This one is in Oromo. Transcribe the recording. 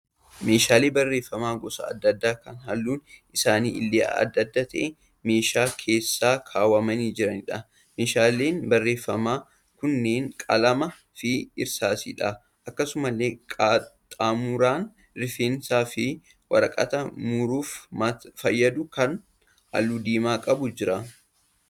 Meeshaalee barreeffamaa gosa adda addaa kan halluun isaanii illee adda adda ta'e meeshaa keessa kaawwamani jiraniidha. Meeshaaleen barreeffamaa kunneen qalamaa fi irsaasiidha. Akkasumallee qaxxaamuraan rifeensaa fi waraqata muruuf fayyadu kan halluu diimaa qabu jira.